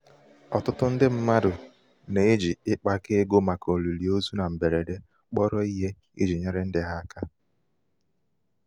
ọtụtụ ndị mmadụ na-eji ịkpakọ ịkpakọ ego màkà olili ozu na mgberede kpọrọ ihe iji nyere ndị ha aka.